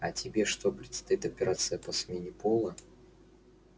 а тебе что предстоит операция по смене пола